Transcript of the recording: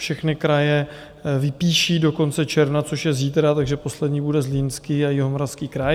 Všechny kraje vypíší do konce června, což je zítra, takže poslední bude Zlínský a Jihomoravský kraj.